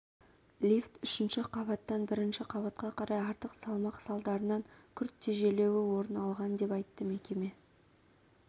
лифт үшінші қабаттан бірінші қабатқа қарай артық салмақ салдарынан күрт тежелуі орын алған деп айтты мекеме